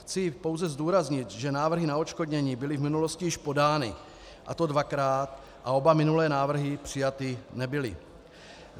Chci pouze zdůraznit, že návrhy na odškodnění byly v minulosti již podány, a to dvakrát, a oba minulé návrhy přijaty nebyly.